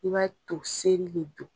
I b'a ye to seri be dun